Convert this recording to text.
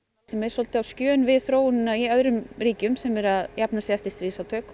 sem er svolítið á skjön við þróunina í öðrum ríkjum sem eru að jafna sig eftir stríðsátök